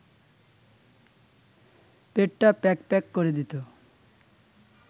পেটটা প্যাঁক প্যাঁক করে দিত